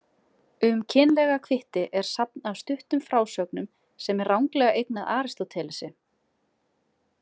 Um kynlega kvitti er safn af stuttum frásögnum sem er ranglega eignað Aristótelesi.